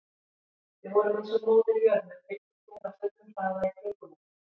Við vorum eins og Móðir jörð með fylgitungl á fullum hraða í kringum okkur.